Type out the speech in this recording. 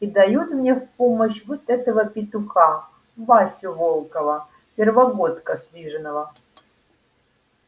и дают мне в помощь вот этого петуха васю волкова первогодка стриженого